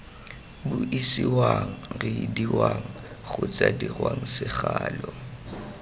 buisiwang reediwang kgotsa dirwang segalo